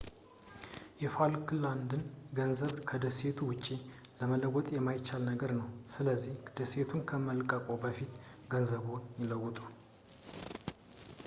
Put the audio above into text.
የፋልክላንድን ገንዘብ ከዴሴቱ ውጪ መለወጥ የማይቻል ነገር ነው ስለዚህ ደሴቱን ከመልቀቅዎ በፊት ገንዘብዎን ይለውጡ